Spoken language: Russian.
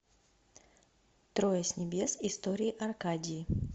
трое с небес истории аркадии